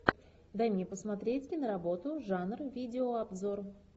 дай мне посмотреть киноработу жанр видеообзор